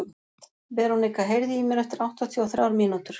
Veronika, heyrðu í mér eftir áttatíu og þrjár mínútur.